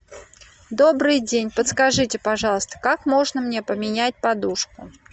добрый день подскажите пожалуйста как можно мне поменять подушку